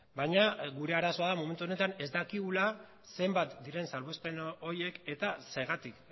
baina gure arazoa da momentu honetan ez dakigula zenbat diren salbuespen horiek eta zergatik